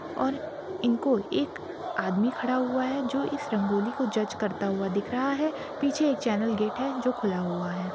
और इनको एक आदमी खड़ा हुआ है जो इस रंगोली को जज करता हुआ दिख रहा है पीछे एक चैनल गेट है जो खुला हुआ है।